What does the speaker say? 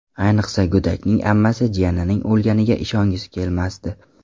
Ayniqsa, go‘dakning ammasi jiyanining o‘lganiga ishongisi kelmasdi.